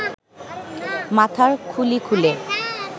মাথার খুলি খুলে